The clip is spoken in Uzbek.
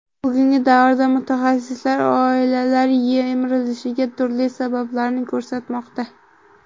Bugungi davrda mutaxassislar oilalar yemirilishiga turli sabablarni ko‘rsatmoqda.